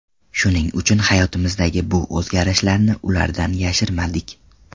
Shuning uchun hayotimizdagi bu o‘zgarishlarni ulardan yashirmadik.